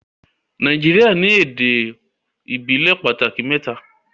Nàìjíríà ní èdè ìbílè pàtàkì mẹ́ta